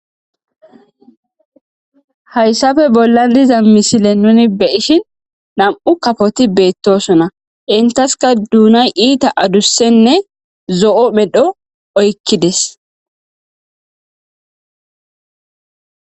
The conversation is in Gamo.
hayssafe bollan diza misile nuni be'ishin nam7u kafoti beettosona intaska duunay iita adussenne zo7o medho oykkides